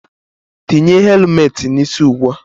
Tinye helumet n'isi ụgbụa!